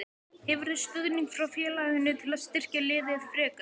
Hefurðu stuðning frá félaginu til að styrkja liðið frekar?